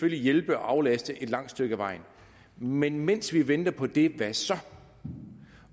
hjælpe og aflaste et langt stykke ad vejen men mens vi venter på det hvad så